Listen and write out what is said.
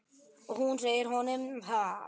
Og hún segir honum það.